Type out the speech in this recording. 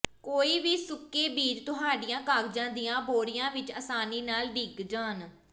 ਕੋਈ ਵੀ ਸੁੱਕੇ ਬੀਜ ਤੁਹਾਡੀਆਂ ਕਾਗਜ਼ਾਂ ਦੀਆਂ ਬੋਰੀਆਂ ਵਿਚ ਆਸਾਨੀ ਨਾਲ ਡਿੱਗ ਜਾਣ